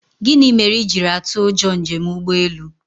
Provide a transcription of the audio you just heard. Gịnị mere i jiri atụ ụjọ njem ụgbọelu?